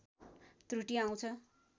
त्रुटि आउँछ